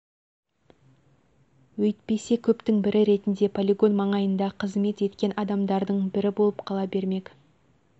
өйтпесе көптің бірі ретінде полигон маңайында қызмет еткен адамдардың бірі болып қала бермек